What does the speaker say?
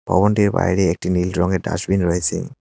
ভবনটির বাইরে একটি নীল রঙের ডাস্টবিন রয়েছে।